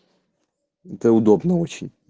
это удобно очень